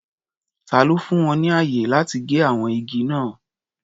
Ta ló fún wọn ní ààyè láti gé àwọn igi náà?